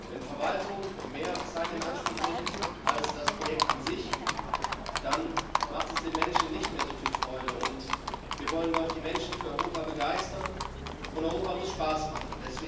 Wenn Verwaltung mehr Zeit in Anspruch nimmt als das Projekt an sich, dann macht es den Menschen nicht mehr so viel Freude. Wir wollen doch die Menschen für Europa begeistern, und Europa muss Spaß machen.